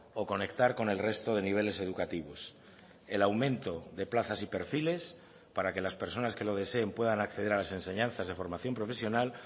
o conectar con el resto de niveles educativos el aumento de plazas y perfiles para que las personas que lo deseen puedan acceder a las enseñanzas de formación profesional